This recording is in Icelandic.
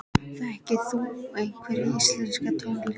Þekkir þú einhverja íslenska tónlist?